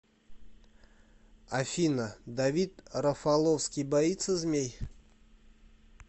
афина давид рафаловский боится змей